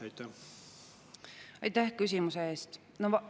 Aitäh küsimuse eest!